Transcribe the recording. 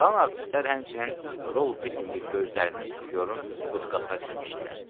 Qalan artistlər həmçinin rol bitməyib gözlərini suflyorun budkasına tikmişdilər.